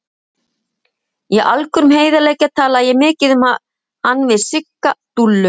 Í algjörum heiðarleika talaði ég mikið um hann við Sigga Dúllu.